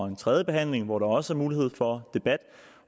en tredjebehandling hvor der også er mulighed for debat